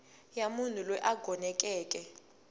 ya munhu loyi a gonekeke